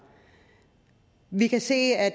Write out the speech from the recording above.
vi kan se at